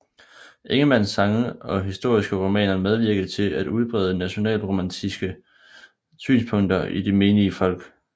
Ingemanns sange og historiske romaner medvirkede til at udbrede nationalromantiske synspunkter i det menige folk